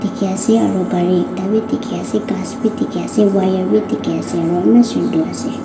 dekhi ase aro kari ektabi dekhi ase khasbi dekhi ase wire bi dekhi ase aro eman sundor ase.